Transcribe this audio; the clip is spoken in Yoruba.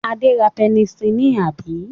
Adé ra pẹnisílínì, àbí?